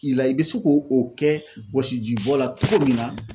I la, i bɛ se k'o o kɛ wɔsiji bɔ la cogo min na